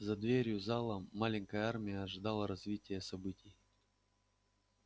за дверью зала маленькая армия ожидала развития событий